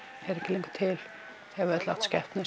er ekki lengur til þau hafa öll átt skepnur